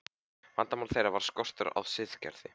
Vandamál þeirra var skortur á siðgæði.